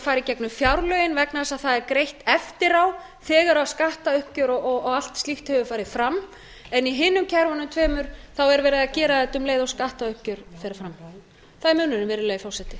í gegnum fjárlögin vegna þess að það er greitt eftir á þegar skattauppgjör og allt slíkt hefur farið fram en í hinum kerfunum tveimur er verið að gera þetta um leið og skattauppgjör fer fram það er munurinn virðulegi forseti